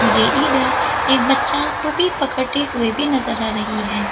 जे इधर एक बच्चा टोपी पकते हुए भी नजर आ रही है।